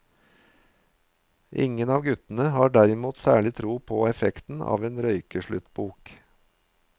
Ingen av guttene har derimot særlig tro på effekten av en røykesluttbok.